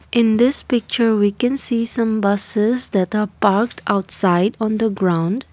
in this picture we can see some buses that are parked outside on the ground.